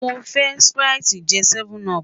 Mo fẹ sprite je 7up